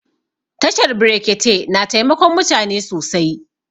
Tashar brekete na taimakon mutane sosai